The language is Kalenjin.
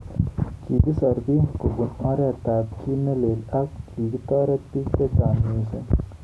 Kikisor bik kobun oret ab ki nelelel ako kitoretok bik chechang missing.